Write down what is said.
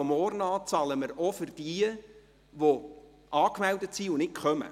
Denn ab morgen bezahlen wir auch für jene, die angemeldet sind, aber nicht teilnehmen.